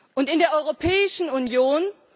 Und in der Europäischen Union?